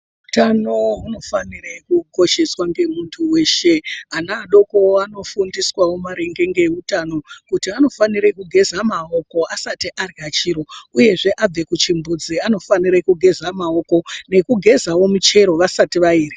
Utano hunofanire kukosheswa ngemuntu weshe. Ana adokowo anofundiswawo maringe ngeutano, kuti anofanire kugeza maoko asati arya chiro, uyezve abve kuchimbuzi anofanire kugeza maoko nekugezawo michero vasati vairya.